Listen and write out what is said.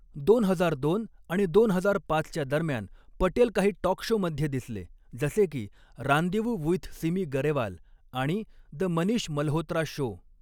दोन हजार दोन आणि दोन हजार पाचच्या दरम्यान, पटेल काही टॉक शोमध्ये दिसले जसे की रांदेवू वुइथ सिमी गरेवाल आणि द मनीष मल्होत्रा शो.